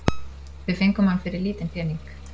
Við fengum hann fyrir lítinn pening